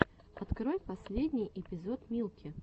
открой последний эпизод милки